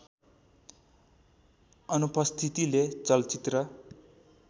अनुपस्थितिले चलचित्र